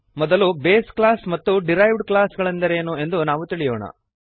ಮೊದಲು base class ಮತ್ತು derived class ಗಳೆಂದರೇನು ಎಂದು ನಾವು ತಿಳಿಯೋಣ